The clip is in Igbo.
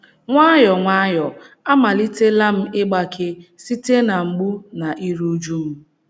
Nwayọọ nwayọọ amalitela m ịgbake site na mgbu na iru újú m.